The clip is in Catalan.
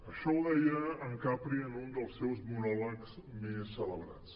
això ho deia en capri en un dels seus monòlegs més celebrats